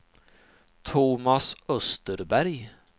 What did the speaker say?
Thomas Österberg